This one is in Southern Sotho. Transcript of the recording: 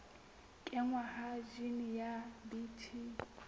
kenngwa ha jine ya bt